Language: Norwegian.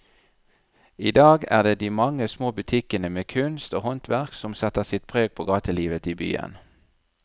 I dag er det de mange små butikkene med kunst og håndverk som setter sitt preg på gatelivet i byen.